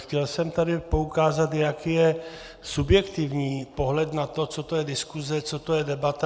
Chtěl jsem tady poukázat, jak je subjektivní pohled na to, co to je diskuze, co to je debata.